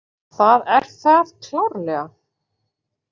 Það er það klárlega.